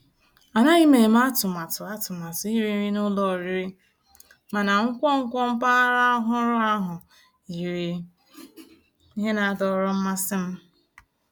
Ànàghị́ m èmé àtụ̀màtụ́ àtụ̀màtụ́ írì nrí ná ụ́lọ̀ ọ̀rị́rị́, mànà nkwonkwo mpàgàrà ọ̀hụ́rụ́ ahụ́ yìrí íhè ná-àdọ̀rọ́ mmàsí m.